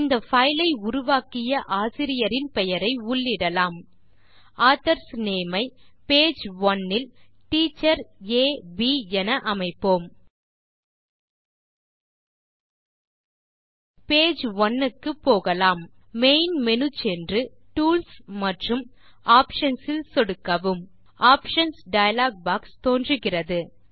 இந்த பைல் ஐ உருவாக்கிய ஆசிரியரின் பெயரை உள்ளிடலாம் ஆதர்ஸ் நேம் ஐ பேஜ் ஒனே இல் டீச்சர் ஆ ப் என அமைப்போம் பேஜ் ஒனே க்கு போகலாம் மெயின் மேனு சென்று டூல்ஸ் மற்றும் ஆப்ஷன்ஸ் இல் சொடுக்கவும் ஆப்ஷன்ஸ் டயலாக் பாக்ஸ் தோன்றுகிறது